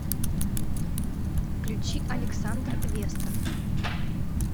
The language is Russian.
включи александр вестов